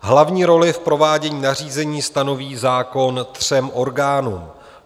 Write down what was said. Hlavní roli v provádění nařízení stanoví zákon třem orgánům.